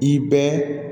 I bɛɛ